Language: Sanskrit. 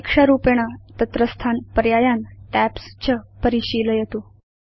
परीक्षारूपेण तत्रस्थान् पर्यायान् टैब्स् च परिशीलयतु